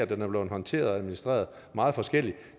den er blevet håndteret og administreret meget forskelligt